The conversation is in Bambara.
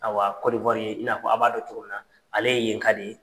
Ayiwa i n'a fɔ a b'a dƆn cogo min na ale ye yenka de ye.